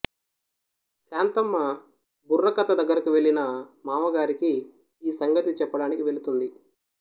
శాంతమ్మ బుర్రకథ దగ్గరకు వెళ్ళిన మావగారికి ఈ సంగతి చెప్పడానికి వెళుతుంది